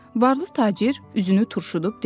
Varlı tacir üzünü turşudub dedi: